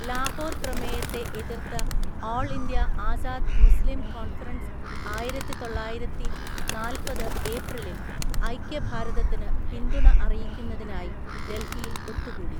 ലാഹോർ പ്രമേയത്തെ എതിർത്ത All India Azad Muslim Conference ആയിരത്തിതൊള്ളായിരത്തിനാല്‍പത് ഏപ്രിലിൽ ഐക്യഭാരതത്തിന് പിന്തുണ അറിയിക്കുന്നതിനായി ഡൽഹിയിൽ ഒത്തുകൂടി.